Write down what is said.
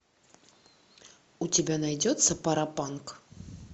у тебя найдется паропанк